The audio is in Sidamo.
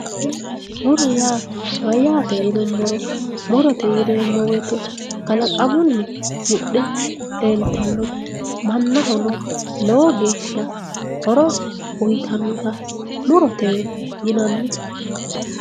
muro yaa mayyate yinummoro muro yaa kalaqamunni mudhe leeltannote mannahono lowo geeshsha horo uyiitannota murotewe yinanni.